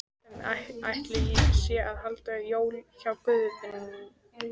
Hvernig ætli sé að halda jól hjá Guði?